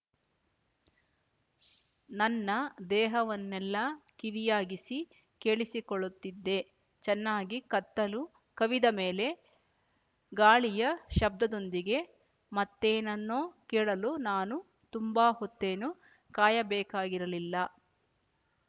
ನನ್ನ ದೇಹವನ್ನೆಲ್ಲ ಕಿವಿಯಾಗಿಸಿ ಕೇಳಿಸಿಕೊಳ್ಳುತ್ತಿದ್ದೆ ಚೆನ್ನಾಗಿ ಕತ್ತಲು ಕವಿದ ಮೇಲೆ ಗಾಳಿಯ ಶಬ್ದದೊಂದಿಗೆ ಮತ್ತೇನನ್ನೋ ಕೇಳಲು ನಾನು ತುಂಬ ಹೊತ್ತೇನೂ ಕಾಯಬೇಕಾಗಿರಲಿಲ್ಲ